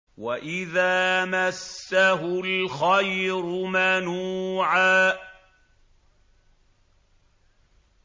وَإِذَا مَسَّهُ الْخَيْرُ مَنُوعًا